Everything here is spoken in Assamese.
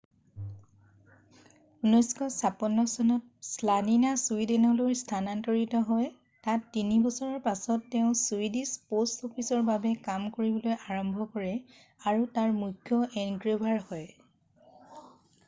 1956 চনত শ্লানিনা ছুইদেনলৈ স্থানান্তৰিত হয় তাত তিনি বছৰৰ পাছত তেওঁ ছুইডিছ প'ষ্ট অফিচৰ বাবে কাম কৰিবলৈ আৰম্ভ কৰে আৰু তাৰ মুখ্য এনগ্ৰেভাৰ হয়